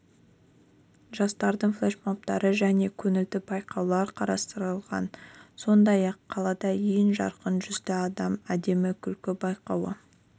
жастардың флешмобтары және көңілді байқаулар қарастырылғар сондай-ақ қалада ең жарқын жүзді адам әдемі күлкі байқауы